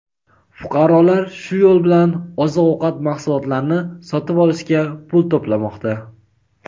Fuqarolar shu yo‘l bilan oziq-ovqat mahsulotlarini sotib olishga pul to‘plamoqda.